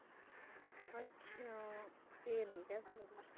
ਅੱਛਾ ਠੀਕ ਹੈ ਫੇਰ।